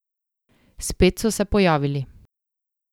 Spet so se pojavili.